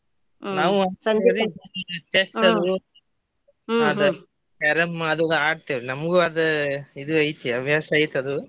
ನಾವ್ ಒಂದ್ ಸ್ವಲ್ಪ ರಿ Chess ಅದು Carrom ಅದು ಆಡತೆವ್ರಿ ನಂಗೂ ಅದ್ ಇದು ಐತಿ ಹವ್ಯಾಸ ಐತಿ ಅದು.